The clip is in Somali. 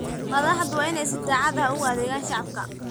Madaxdu waa inay si daacad ah ugu adeegaan shacabka.